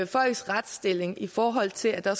folks retsstilling i forhold til at der